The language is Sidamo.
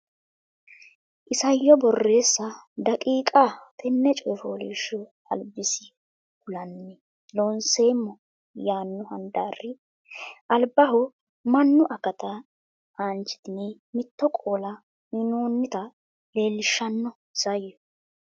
Isayyo Borreessa daqiiqa Tenne coy fooliishsho albisi kulanni Loonseemmo yaanno handaari albaho mannu akata aanchitine mitto qoola uynoonnita leellishshanno Isayyo.